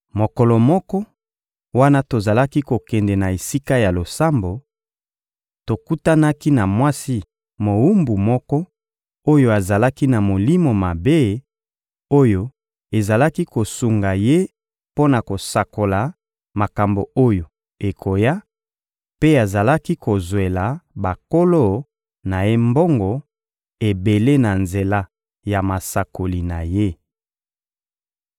Mokolo moko, wana tozalaki kokende na esika ya losambo, tokutanaki na mwasi mowumbu moko oyo azalaki na molimo mabe oyo ezalaki kosunga ye mpo na kosakola makambo oyo ekoya, mpe azalaki kozwela bankolo na ye mbongo ebele na nzela ya masakoli na ye.